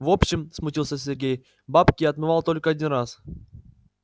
в общем смутился сергей бабки я отмывал только один раз